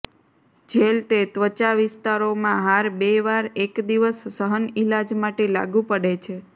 jail તે ત્વચા વિસ્તારોમાં હાર બે વાર એક દિવસ સહન ઇલાજ માટે લાગુ પડે છે